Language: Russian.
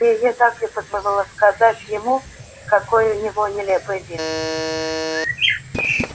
её так и подмывало сказать ему какой у него нелепый вид